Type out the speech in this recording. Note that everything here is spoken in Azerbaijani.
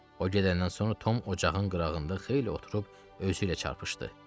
O gedəndən sonra Tom ocağın qırağında xeyli oturub özü ilə çarpışdı.